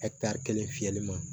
kelen fiyɛli ma